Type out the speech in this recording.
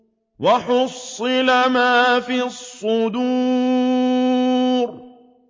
وَحُصِّلَ مَا فِي الصُّدُورِ